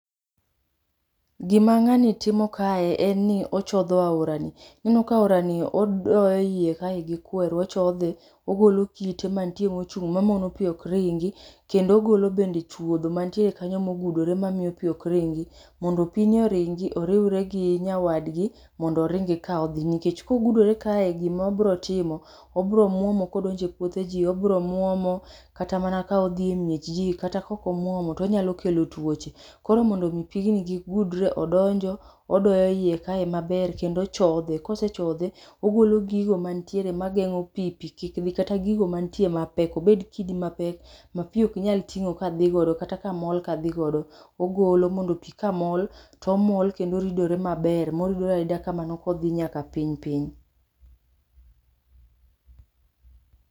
Gima ngani timo kae en ni ochodho aora ni ineno ka aora ni odoyo eiya kae gi kweru ochodhe ogolo kite mantie machung mamono pii ok ringi kendo ogolo bende chuodho mantie kanye mogudore mamiyo pii ok ringi mondo pi ni oringi oriwre gi nyawadgi mondo oringi kaodhi. Nikech kogudore kae gimabrotimo obro mwomo kodonje puodhe jii obro mwomo kata mana kodhi e miech jii kata kok omwomo to onyalo kelo tuoche koro mondo mii pigni kik gudre odonjo odoyo ie ka maber kendo ochodhe kosechodhe ogolo gigo mantie magengo pii pii kik dhi kata gigo mantie mapek obed kidi mapek ma pii ok nyal tingo kadhigodo kata kamol kadhigodo ogolo mondo pii kamol tomol kendo oridore maber moridore arida kamano kodhi nyaka piny piny